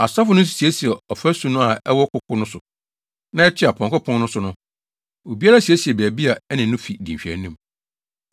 Asɔfo no nso siesiee ɔfasu no a ɛwɔ koko so na ɛtoa Apɔnkɔ Pon no so no. Obiara siesiee baabi a ɛne ne fi di nhwɛanim.